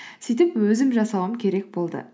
сөйтіп өзім жасауым керек болды